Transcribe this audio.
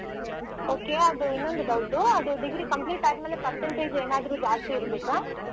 Okay ಅದು ಇನ್ನೊಂದು doubt ಅದು degree complete ಆದ್ಮೇಲೆ percentage ಏನಾದ್ರು ಜಾಸ್ತಿ ಇರ್ಬೇಕಾ?